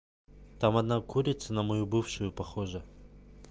там одна курица на мою бывшую похожа